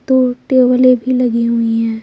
दो टेबले भी लगी हुई है।